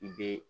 Be